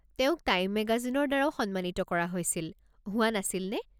তেওঁক টাইম মেগাজিনৰ দ্বাৰাও সন্মানিত কৰা হৈছিল, হোৱা নাছিল নে?